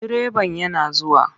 Direban yana zuwa.